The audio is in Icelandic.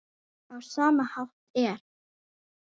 Á sama hátt er